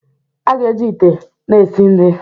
A ga-eji ite na-esi nri